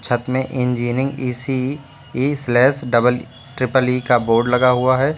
छत में engineering E C E slash double triple E का बोर्ड लगा हुआ है।